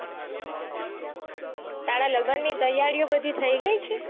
તારા લગન ની તૈયારીઓ બધી થઇ ગઈ છે.